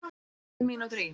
Tíu mínútur í